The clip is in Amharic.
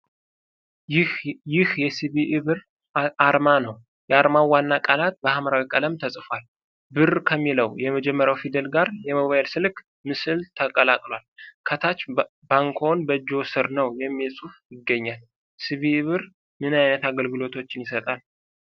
ይህ የ ሲቢኢ ብር አርማ ነው። የአርማው ዋናው ቃላት በሐምራዊ ቀለም ተጽፏል። "ብር" ከሚለው የመጀመሪያው ፊደል ጋር የሞባይል ስልክ ምስል ተቀላቅሏል። ከታች "ባንክዎ በእጅዎ ሥር ነው!"የሚል ጽሑፍ ይገኛል። ሲ ቢ ኢ ብር ምን ዓይነት አገልግሎቶችን ይሰጣል?